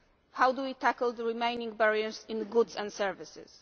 How do we tackle the remaining barriers in goods and services?